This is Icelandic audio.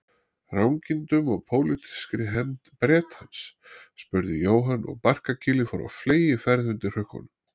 Rangindum og pólitískri hefnd Bretans? spurði Jóhann og barkakýlið fór á fleygiferð undir hrukkunum.